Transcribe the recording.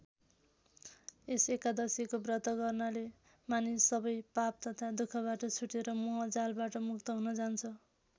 यस एकादशीको व्रत गर्नाले मानिस सबै पाप तथा दुखबाट छुटेर मोह जालबाट मुक्त हुन जान्छ।